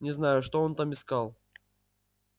не знаю что он там искал